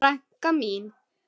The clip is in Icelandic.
Frænka mín.